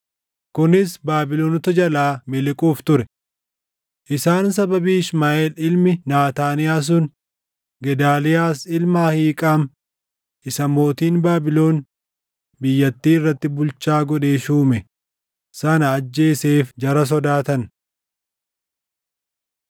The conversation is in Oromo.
kunis Baabilonota jalaa miliquuf ture. Isaan sababii Ishmaaʼeel ilmi Naataaniyaa sun Gedaaliyaas ilma Ahiiqaam isa mootiin Baabilon biyyattii irratti bulchaa godhee shuume sana ajjeeseef jara sodaatan.